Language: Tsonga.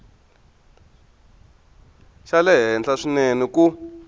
xa le henhla swinene ku